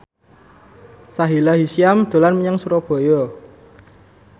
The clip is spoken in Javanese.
Sahila Hisyam dolan menyang Surabaya